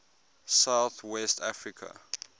south west africa